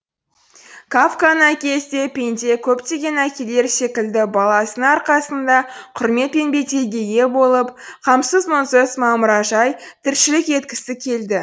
кафканың әкесі де пенде көптеген әкелер секілді баласының арқасында құрмет пен беделге ие болып қамсыз мұңсыз мамыражай тіршілік еткісі келді